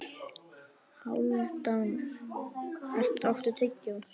Hálfdan, áttu tyggjó?